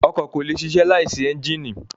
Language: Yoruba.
Ọkọ̀ kò lè ṣiṣẹ́ láìsí ẹ́ńjínì.